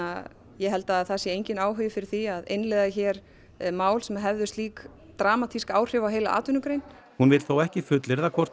ég held að það sé enginn áhugi fyrir því að innleiða hér mál sem hefðu slík dramatísk áhrif á heila atvinnugrein hún vill þó ekki fullyrða hvort